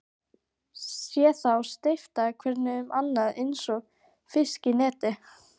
Sé þá steypast hvern um annan einsog fiska í neti.